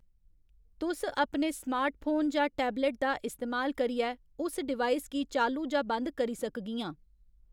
तुस अपने स्मार्टफोन जां टैबलट दा इस्तेमाल करियै उस डिवाइस गी चालू जां बंद करी सकगियां